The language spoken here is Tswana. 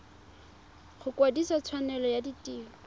go kwadisa tshwanelo ya tiro